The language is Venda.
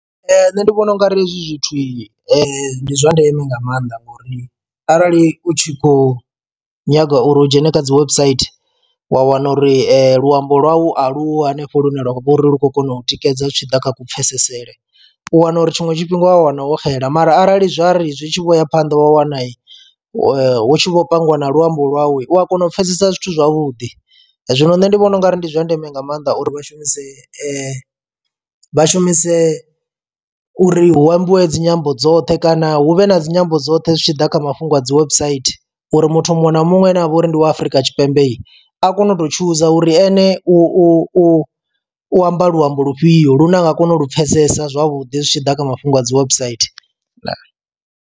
Nṋe ndi vhona ungari hezwi zwithu ndi zwa ndeme nga maanḓa ngori arali u tshi khou nyaga uri hu dzhene kha dzi website wa wana uri luambo lwau aluho hanefho lune lwavha uri lu khou kona u tikedza zwi tshi ḓa kha ku pfesesele. U wana uri tshiṅwe tshifhinga wa wana wo xela mara arali zwa ri zwi tshi vho ya phanḓa wa wana hu tshi vho pangiwa na luambo lwawu u a kona u pfhesesa zwithu zwavhuḓi. Zwino nṋe ndi vhona ungari ndi zwa ndeme nga maanḓa uri vha shumise vha shumise uri hu ambiwe dzinyambo dzoṱhe kana hu vhe na dzi nyambo dzoṱhe zwi tshi ḓa kha mafhungo a dzi website uri muthu muṅwe na muṅwe ane avha uri ndi wa Afrika Tshipembe a kone u to tshuza uri ene u u u amba luambo lufhio lune a nga kona u lu pfesesa zwavhuḓi zwi tshi ḓa kha mafhungo a dzi website, ndaa.